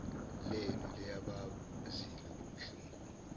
lenu liyabazi lobobuhlungu